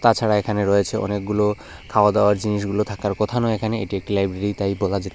এছাড়া এখানে রয়েছে অনেকগুলো খাওয়া দাওয়ার জিনিসগুলো থাকার কথা নয় এখানে এটি একটি লাইব্রেরি তাই বলা যেতে--